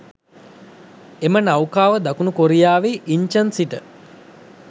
එම නෞකාව දකුණු කොරියාවේ ඉන්චන් සිට